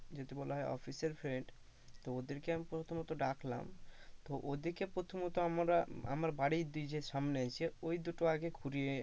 যদি বলা হয় অফিসের friend তো ওদের কে প্রথমত ডাকলাম তো ওদিকে প্রথমত আমরা আমার বাড়ির দিয়ে যে সামনে আসে ঐ দুটো আগে ঘুরিয়ে,